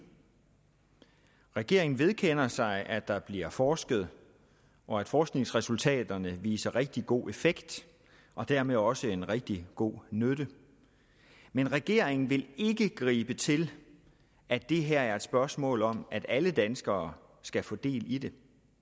regeringen vedkender sig at der bliver forsket og at forskningsresultaterne viser rigtig god effekt og dermed også en rigtig god nytte men regeringen vil ikke gribe til at det her er et spørgsmål om at alle danskere skal få del i det